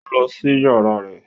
Ó lọ sí yàrá rẹ̀